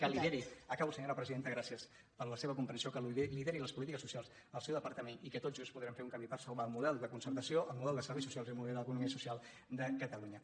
que lideri acabo senyora presidenta gràcies per la seva comprensió les polítiques socials del seu depar·tament i que tots junts podrem fer un camí per salvar el model de concertació el model de serveis socials i el model de l’economia social de catalunya